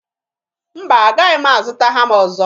Mba, agahị m azụta hama ọzọ.